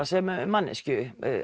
sem manneskju